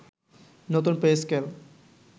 নতুন pay scale